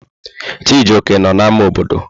Chijioke nọ n'ámá obodo.